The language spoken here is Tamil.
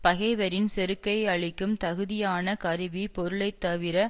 பகைவரின் செருக்கை அழிக்கும் தகுதியான கருவி பொருளை தவிர